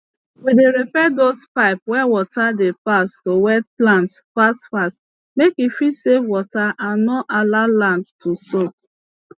we dey repair dose pipes wey water dey pass to wet plants fast fast make e fit save water and no allow land too soak